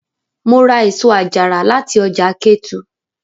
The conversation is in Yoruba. Mo ra èso àjàrà láti ọjà Ketu.